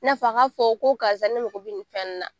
I n'a fɔ a k'a fɔ ko karisa ne mago bɛ nin fɛn na